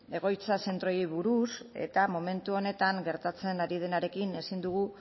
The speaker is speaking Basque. egoitza zentroei buruz eta momentu honetan gertatzen ari denarekin ezin dugu